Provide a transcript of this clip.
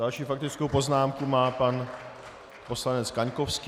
Další faktickou poznámku má pan poslanec Kaňkovský.